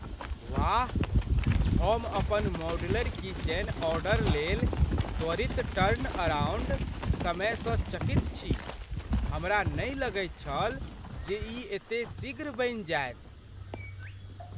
वाह! हम अपन मॉड्यूलर किचन ऑर्डरलेल त्वरित टर्नअराउंड समय सँ चकित छी। हमरा नहि लगैत छल जे ई एते शीघ्र बनि जायत।